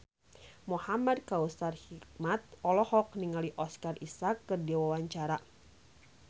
Muhamad Kautsar Hikmat olohok ningali Oscar Isaac keur diwawancara